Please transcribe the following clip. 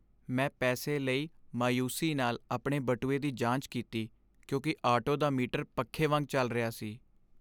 ਮੈਂ ਪੈਸੇ ਲਈ ਮਾਯੂਸੀ ਨਾਲ ਆਪਣੇ ਬਟੂਏ ਦੀ ਜਾਂਚ ਕੀਤੀ ਕਿਉਂਕਿ ਆਟੋ ਦਾ ਮੀਟਰ ਪੱਖੇ ਵਾਂਗ ਚੱਲ ਰਿਹਾ ਸੀ।